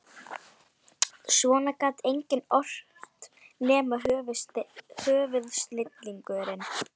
Svona gat enginn ort nema höfuðsnillingurinn